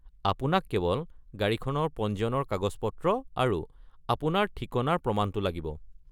আপোনাক কেৱল গাড়ীখনৰ পঞ্জীয়নৰ কাগজ-পত্ৰ আৰু আপোনাৰ ঠিকনাৰ প্ৰমাণটো লাগিব।